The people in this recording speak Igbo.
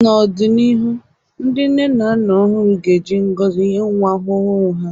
N’ọdịnihu, ndị nne na nna ọhụrụ ga-eji ngọzi nye nwa ọhụrụ ha